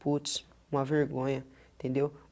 Putz, uma vergonha, entendeu?